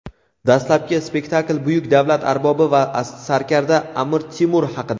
Dastlabki spektakl buyuk davlat arbobi va sarkarda "Amir Temur" haqida.